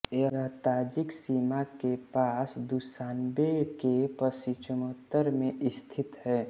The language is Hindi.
यह ताजिक सीमा के पास दुशान्बे के पश्चिमोत्तर में स्थित है